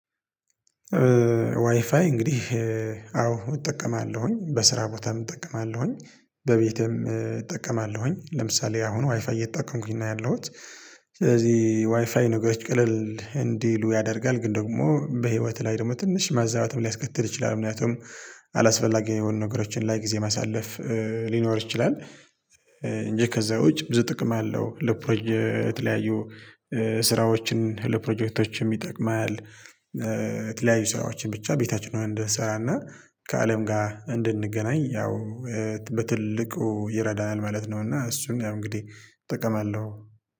ዋይፋይ እንግዲህ አዎ እጠቀማለሁኝ በስራ ቦታም እጠቀማለሁኝ በቤቴም እጠቀማለሁኝ ለምሳሌ አሁን ዋይፋይ እየጠቀምኩኝ ነው ያለሁት። ስለዚህ ዋይፋይ ነገሮች ቅልል እንዲሉ ያደርጋል ግን ደግሞ በህይወትህ ላይ ደግሞ ትንሽ ማዛባትም ሊያስከትል ይችላል ምክንያቱም አላስፈላጊ የሆኑ ነገሮችን ላይ ጊዜ ማሳለፍ ሊኖር ይችላል። እንጂ ከዛ ውጪ ብዙ ጥቅም አለው ለፕሮጀክት ለተለያዩ ስራዎችን ለፕሮጀክቶችም ይጠቅማል። የተለያዩ ስራዎችን ብቻ ቤታችን እንድሰራና ከአለም ጋር እንድንገናኝ ያው በትልቁ ይረዳናል ማለት ነው። እና እሱን ያው እንግዲህ እጠቀማለሁ